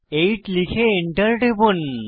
8 লিখে এন্টার টিপুন